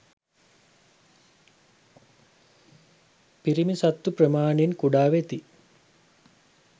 පිරිමි සත්තු ප්‍රමාණයෙන් කුඩා වෙති.